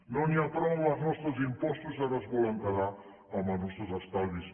no n’hi ha prou amb els nostres impostos ara es volen quedar amb els nostres estalvis